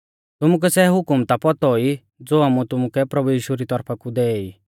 तुमुकै सै हुकम ता पौतौ ई ज़ो आमुऐ तुमुकै प्रभु यीशु री तौरफा कु दै ई